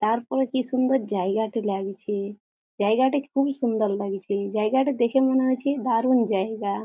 তারপরে কি সুন্দর জায়গাটি লাগছে জায়গাটি খুবই সুন্দর লাগছে জায়গাটি দেখে মনে হচ্ছে দারুন জায়গা।